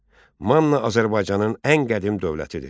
Manna Azərbaycanın ən qədim dövlətidir.